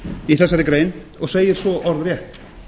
í þessari grein og segir svo orðrétt